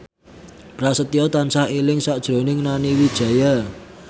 Prasetyo tansah eling sakjroning Nani Wijaya